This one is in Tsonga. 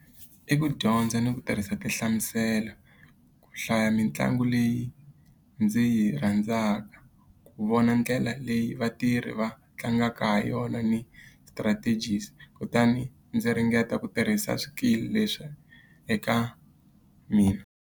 I ku dyondza ni ku tirhisa tinhlamuselo, ku hlaya mitlangu leyi ndzi yi rhandzaka, ku vona ndlela leyi vatirhi va tlangaka ha yona ni strategies, kutani ndzi ringeta ku tirhisa swikili leswi eka mina.